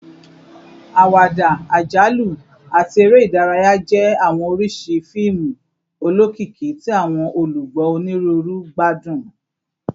Awada, ajalu, ati ere idaraya jẹ awọn oriṣi fiimu olokiki ti awọn olugbo oniruuru gbadun